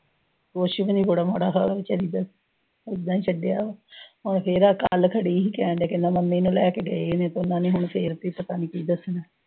ਕੁਸ਼ ਵੀ ਨੀਂ, ਬੜਾ ਮਾੜਾ ਹਾਲ ਆ, ਬੇਚਾਰੀ ਦਾ। ਓਦਾਂ ਈ ਛੱਡਿਆ ਵਾ। ਕੱਲ੍ਹ ਖੜੀ ਸੀ, ਤੇ, ਮੈਂ ਮੰਮੀ ਨੂੰ ਲੈ ਕੇ ਗਈ, ਵੀ ਪਤਾ ਨੀਂ ਹੁਣ ਫੇਰ ਹੁਣ ਪਤਾ ਨੀਂ ਕੀ ਦੱਸਣਾ।